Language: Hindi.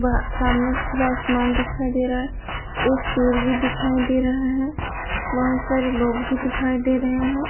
वह सामने खुला आसमान दिखाई दे रहा है एक पेर भी दिखाई दे रहा है बहुत सारे लोग भी दिखाई दे रहे हैं।